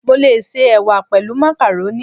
Mo lè se Ẹ̀wà pẹ̀lú màkàrónì.